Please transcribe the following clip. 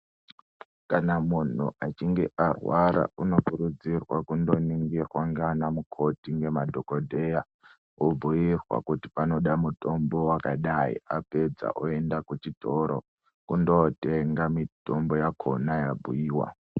Kana munhu achinge arwara unokurudzirwa kundoningirwa ngeanamukoti ngemadhokodheya, obhuirwa kuti panoda mutombo wakadai, apedza oenda kuchitoro, kundootenga mitombo yakhona yabhuiwa.